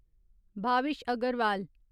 Bhavish Agarwal